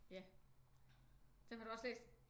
Ja dem har du også læst?